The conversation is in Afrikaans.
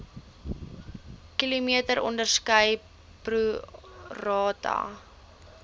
km onderskeidelik prorata